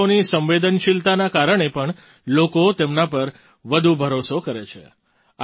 મહિલાઓની સંવેદનશીલતાના કારણે પણ લોકો તેમના પર વધુ ભરોસો કરે છે